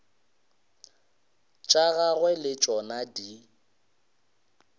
tša gagwe le tšona di